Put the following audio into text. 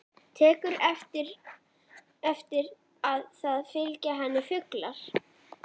Tekur eftir að það fylgja henni fuglar.